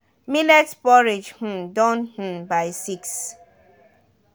millet porridge um don um by six